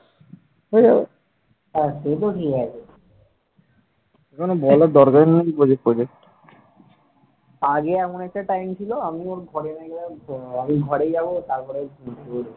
আগে এমন একটা time ছিল আমি ওর ঘরে গিয়ে আমি ঘরে যাব তারপর ও ঘুম থেকে উঠবে ।